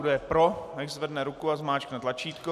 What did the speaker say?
Kdo je pro, nechť zvedne ruku a zmáčkne tlačítko.